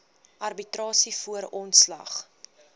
arbitrasie voor ontslag